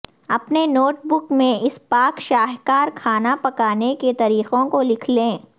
اپنے notebook میں اس پاک شاہکار کھانا پکانے کے طریقوں کو لکھ لیں